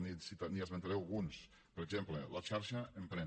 li n’esmentaré alguns per exemple la xarxa emprèn